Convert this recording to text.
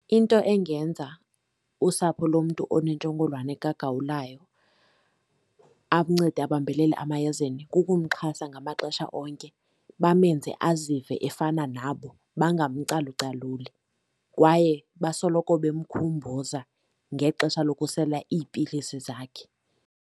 Into engenza usapho lomntu onentsholongwane kagawulayo akuncede abambelele emayezeni kukumxhasa ngamaxesha onke, bamenze azive efana nabo bangamcalucaluli, kwaye basoloko bemkhumbuza ngexesha lokusela iipilisi zakhe.